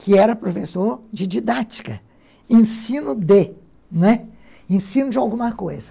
que era professor de didática, ensino de, não é? ensino de alguma coisa.